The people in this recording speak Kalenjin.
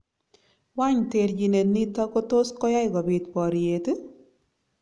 Wany terchinet niton kotoskoyai kobit boryet?